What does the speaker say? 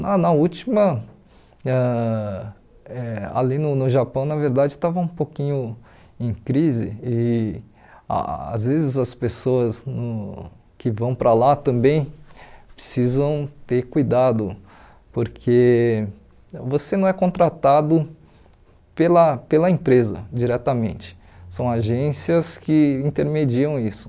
Na na última, ãh eh ali no no Japão na verdade estava um pouquinho em crise e às vezes as pessoas no que vão para lá também precisam ter cuidado, porque você não é contratado pela pela empresa diretamente, são agências que intermediam isso.